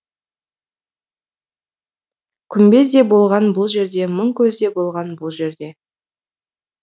күмбез де болған бұл жерде мың көз де болған бұл жерде